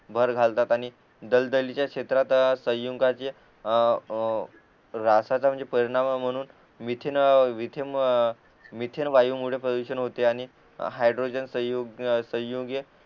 वर घालतात आणि दलदलीच्या क्षेत्रात संयुगाचे अ रासाच म्हणजे परिणाम म्हणून मिथेन मिथेन वायुमुळे प्रदूषण होते आणि हायड्रोजन संयुग संयुगे